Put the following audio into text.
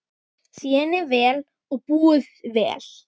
Þéni vel og búi vel.